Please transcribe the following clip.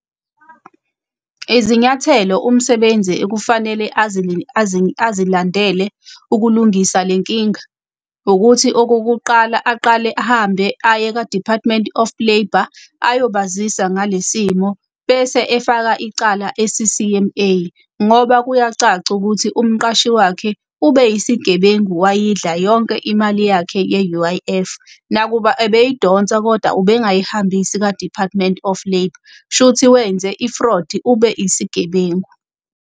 Izinyathelo umsebenzi ekufanele azilandela ukulungisa le nkinga, ukuthi okokuqala aqale ahambe aye ka-Department of Labour ayobazisa ngalesi simo. Bese efaka icala e-C_C_M_A, ngoba kuyacaca ukuthi umqashi wakhe ube isigebengu wayidla yonke imali yakhe ye-U_I_F. Nakuba ebeyidonsa koda ubengayihambisi ka-Department of Labour, shuthi wenze i-fraud, ube isigebengu.